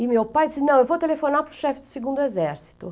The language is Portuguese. E meu pai disse, não, eu vou telefonar para o chefe do segundo exército.